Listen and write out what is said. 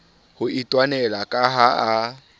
ho itwanela ka ha a